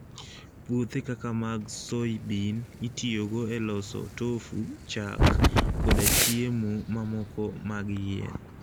Puothe kaka mag soybean itiyogo e loso tofu, chak, koda chiemo mamoko mag yien.